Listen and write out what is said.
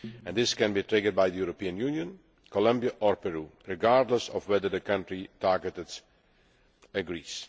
This can be triggered by the European Union, Colombia or Peru regardless of whether the country targeted agrees.